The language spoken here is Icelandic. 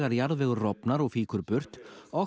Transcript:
jarðvegur rofnar og fýkur burt